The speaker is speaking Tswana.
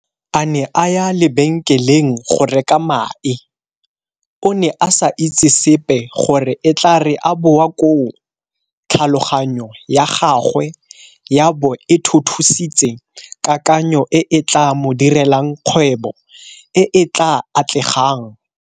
A ne a ya lebenkeleng go reka mae, o ne a sa itse sepe gore e tla re a boa koo tlhaloganyo ya gagwe ya bo e thuthusitse kakanyo e e tla mo direlang kgwebo e e tla atlegang.